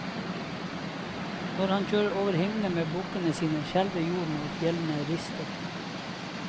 Når han kjører over himmelen med bukkene sine, skjelver jorden og fjellene rister.